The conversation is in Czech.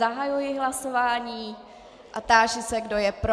Zahajuji hlasování a táži se, kdo je pro.